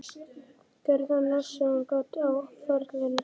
Gerði hann allt sem hann gat á ferlinum?